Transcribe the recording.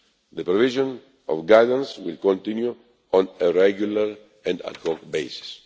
The provision of guidance will continue on a regular and ad-hoc